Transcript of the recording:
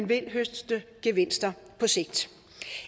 vil høste gevinsterne på sigt